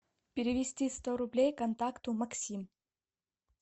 перевести сто рублей контакту максим